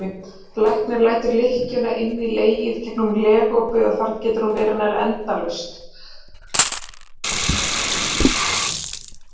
Læknir lætur lykkjuna inn í legið gegnum legopið og þar getur hún verið nær endalaust.